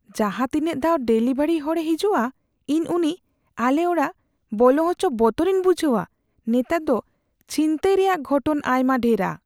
ᱡᱟᱦᱟᱸ ᱛᱤᱱᱟᱜ ᱫᱷᱟᱣ ᱰᱮᱞᱤᱵᱷᱟᱨᱤ ᱦᱚᱲᱮ ᱦᱤᱡᱩᱜᱼᱟ, ᱤᱧ ᱩᱱᱤ ᱟᱞᱮ ᱚᱲᱟᱜ ᱵᱚᱞᱚ ᱦᱚᱪᱚ ᱵᱚᱛᱚᱨᱤᱧ ᱵᱩᱡᱷᱟᱹᱣᱟ ᱾ᱱᱮᱛᱟᱨ ᱫᱚ ᱪᱷᱤᱱᱛᱟᱹᱭ ᱨᱮᱭᱟᱜ ᱜᱷᱚᱴᱚᱱ ᱟᱭᱢᱟ ᱰᱷᱮᱨᱟ ᱾